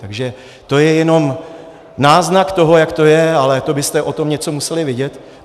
Takže to je jenom náznak toho, jak to je, ale to byste o tom něco museli vědět.